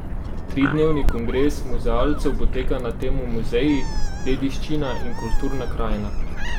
Tridnevni kongres muzealcev poteka na temo Muzeji, dediščina in kulturna krajina.